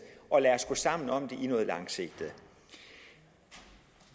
og lad os gå sammen om det med noget langsigtet